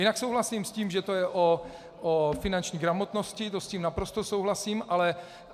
Jinak souhlasím s tím, že to je o finanční gramotnosti, to s tím naprosto souhlasím.